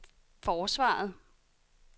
forsvaret